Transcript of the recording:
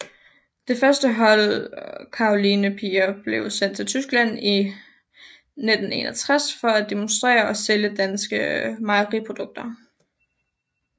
Det første hold Karolinepiger blev sendt til Tyskland i 1961 for at demonstrere og sælge danske mejeriprodukter